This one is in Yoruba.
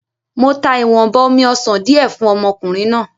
Mo ta ìwọ̀nba omi-ọsàn di ẹ fún ọmọkùnrin náà.